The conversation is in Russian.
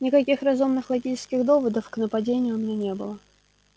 никаких разумных логических доводов к нападению у меня не было